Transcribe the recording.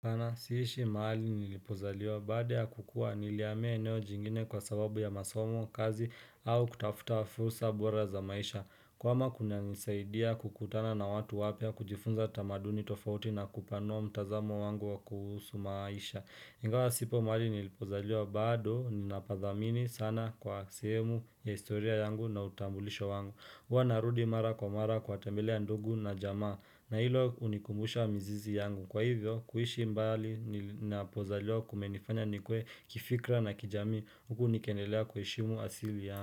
Sana siishi mahali nilipozaliwa baada ya kukua nilihamia eneo jingine kwa sababu ya masomo kazi au kutafuta fursa bora za maisha kuhama kunanisaidia kukutana na watu wapya kujifunza tamaduni tofauti na kupanua mtazamo wangu wa kuhusu maisha Ingawa sipo mahali nilipozaliwa bado ninapadhamini sana kwa sehemu ya historia yangu na utambulisho wangu hua narudi mara kwa mara kwa tembelea ndugu na jamaa na hilo hunikumbusha mizizi yangu kwa hivyo kuishi mbali napozaliwa kumenifanya nikue kifikra na kijamii huku nikiendelea kuheshimu asili yangu.